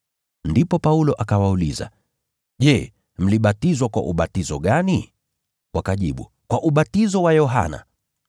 Ndipo Paulo akawauliza, “Je, mlibatizwa kwa ubatizo gani?” Wakajibu, “Kwa ubatizo wa Yohana.”